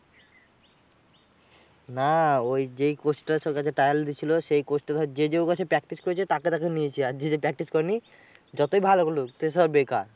না ওই যেই coach টা যার কাছে trial দিচ্ছল, সেই coach টা ধর যে যে ওর কাছে practice করেছে তাকে তাকে নিয়েছে। আর যে যে practice করেনি, যতই ভালো খেলুক সে সব বেকার।